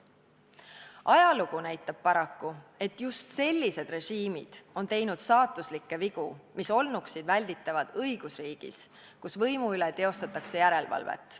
Ajalugu näitab paraku, et just sellised režiimid on teinud saatuslikke vigu, mis olnuks välditavad õigusriigis, kus võimu üle teostatakse järelevalvet.